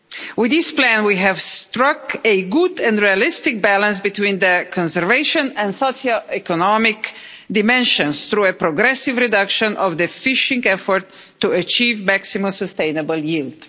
With this plan we have struck a good and realistic balance between the conservation and socio economic dimensions through a progressive reduction of the fishing effort to achieve maximum sustainable yield.